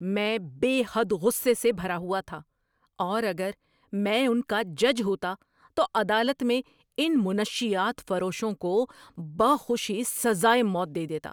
میں بے حد غصے سے بھرا ہوا تھا اور اگر میں ان کا جج ہوتا تو عدالت میں ان منشیات فروشوں کو بخوشی سزائے موت دے دیتا۔